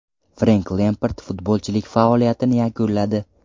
Frenk Lempard futbolchilik faoliyatini yakunladi.